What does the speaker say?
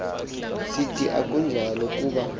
sithi akunjalo kuba